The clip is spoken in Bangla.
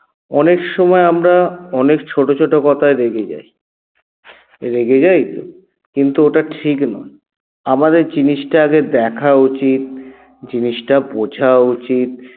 অনেক সময় আমরা অনেক ছোট ছোট কথায় রেগে যাই রেগে যাই তো কিন্তু ওটা ঠিক নয় আমাদের জিনিসটা আগে দেখা উচিত জিনিসটা বোঝা উচিত